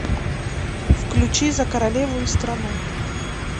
включи за королеву и страну